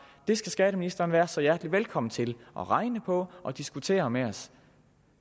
det skal skatteministeren være så hjertelig velkommen til at regne på og diskutere med os